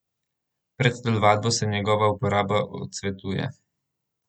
Pred telovadbo se njegova uporaba odsvetuje.